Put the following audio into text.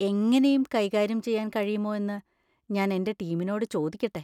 എങ്ങനെയും കൈകാര്യം ചെയ്യാൻ കഴിയുമോ എന്ന് ഞാൻ എന്‍റെ ടീമിനോട് ചോദിക്കട്ടെ.